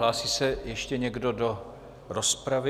Hlásí se ještě někdo do rozpravy?